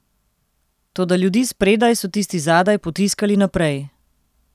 Toda ljudi spredaj so tisti zadaj potiskali naprej.